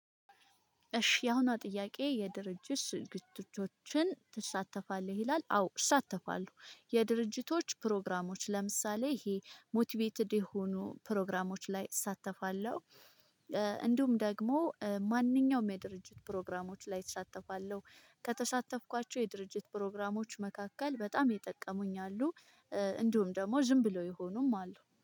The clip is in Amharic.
እሺ ያሁና ጥያቄ የድርጅት ዝግጅቶችን? ትሳተፋለህ ይላል አዎ እሳተፋለሁ የድርጅቶች ፕሮግራሞች ለምሳሌ ይሄ ሞቲቬትድ የሆኑ ፕሮግራሞች ላይ እሳተፋለሁ። እንዲሁም ደግሞ ማንኛውም የድርጅት ፕሮግራሞች ላይ እሳተፋለሁ ከተሳተፍኳቸው የድርጅት ፕሮግራሞች መካከል በጣም የጠቀሙኝ አሉ። እንዲሁም ደግሞ ዝም ብሎ ይሆኑም አሉ